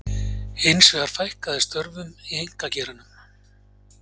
Hins vegar fækkaði störfum í einkageiranum